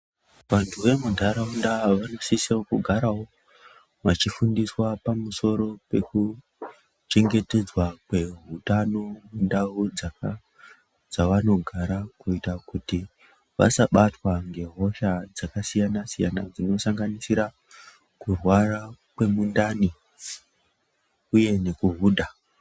Vantuu vemunharaunda vanosisawo kugarawo vachifundiswa pamusoro pekuchengetedzwa kweutano mundau dzavanogara kuita kuti vasabatwa ngehosha dzakasiyanasiyana dzinosanganisira kurwara kwemundani uye nekuhudha.